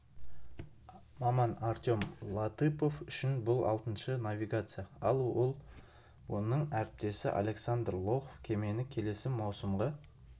маман артем латыпов үшін бұл алтыншы навигация ал оның әріптесі александр лохов кемені келесі маусымға